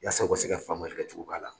Yasa u ka se ka famuyali kɛ cogo ba la.